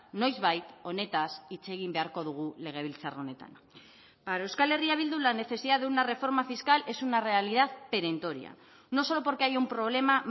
noizbait honetaz hitz egin beharko dugu legebiltzar honetan para euskal herria bildu la necesidad de una reforma fiscal es una realidad perentoria no solo porque hay un problema